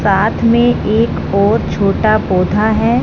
साथ में एक और छोटा पौधा हैं।